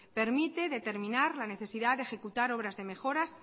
permite determinar la necesidad de ejecutar obras de mejoras